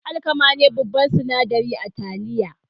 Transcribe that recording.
Alkama ne babban sinadari a taliya.